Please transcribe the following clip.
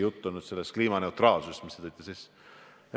Jutt on sellest kliimaneutraalsusest, mis te sisse tõite.